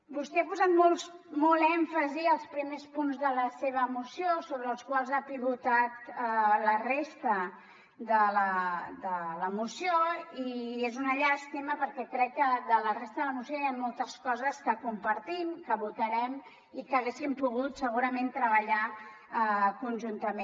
vostè ha posat molt èmfasi als primers punts de la seva moció sobre els quals ha pivotat la resta de la moció i és una llàstima perquè crec que de la resta de la moció hi han moltes coses que compartim que votarem i que haguéssim pogut segurament treballar conjuntament